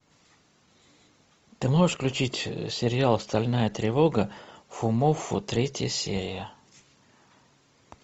ты можешь включить сериал стальная тревога фумоффу третья серия